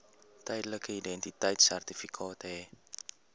tydelike identiteitsertifikaat hê